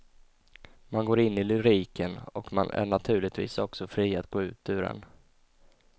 Man går in i lyriken och man är naturligtvis också fri att gå ut ur den.